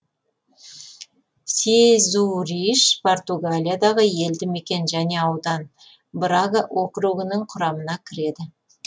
сезуриш португалиядағы елді мекен және аудан брага округінің құрамына кіреді